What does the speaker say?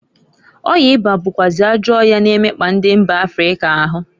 Ọya ịba bụkwazị ajọ ọya na-emekpa ndi mba Africa ahu.